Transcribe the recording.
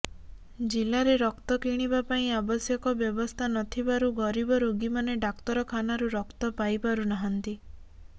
ଜିଲ୍ଲାରେ ରକ୍ତ କିଣିବାପାଇଁ ଆବଶ୍ୟକ ବ୍ୟବସ୍ଥା ନଥିବାରୁ ଗରିବ ରୋଗିମାନେ ଡାକ୍ତର ଖାନାରୁ ରକ୍ତ ପାଇପାରୁନାହାଁନ୍ତି